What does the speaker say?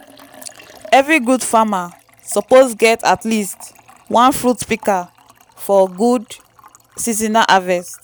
every tree farmer suppose get at least one fruit pika for gud seasonal harvest.